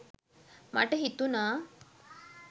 මට හිතුණා.